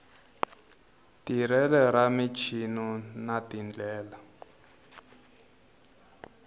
tirhelo ra muchini na tindlela